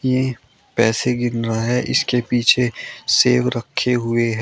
ये पैसे गिन रहा है इसके पीछे सेब रखे हुए हैं।